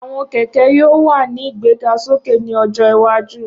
Awọn kẹkẹ yoo wa ni igbegasoke ni ojo iwaju